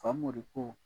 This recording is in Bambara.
Famori ko